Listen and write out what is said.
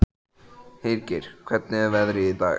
Hergeir, hvernig er veðrið í dag?